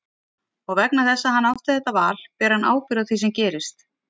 Og vegna þess að hann átti þetta val ber hann ábyrgð á því sem gerist.